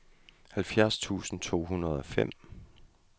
halvfjerds tusind to hundrede og fem